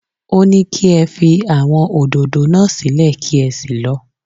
Ó ní kí ẹ fi àwọn òdòdó náà sílẹ̀ kí ẹ sì lọ